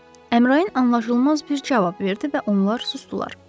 Əmrayin anlaşılmaz bir cavab verdi və onlar susdular.